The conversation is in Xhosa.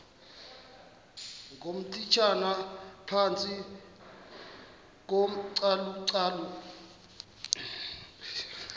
ngootitshala phantsi kocalucalulo